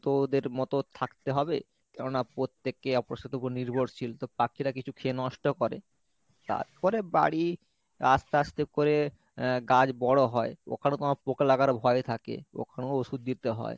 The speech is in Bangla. তো ওদের মতো থাকতে হবে কেননা প্রত্যেককে অপরের সাথে ওপর নির্ভরশীল তো পাখিরা কিছু খেয়ে নষ্ট করে তারপর বাড়ি আস্তে আস্তে করে আহ গাছ বড়ো হয় ওখানে তোমার পোঁকা লাগার ভয় থাকে ওখানেও ওষুধ দিতে হয়।